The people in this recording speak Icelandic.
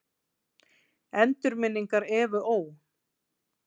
Endurminningar Evu Ó.